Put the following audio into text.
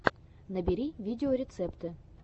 набери видеорецепты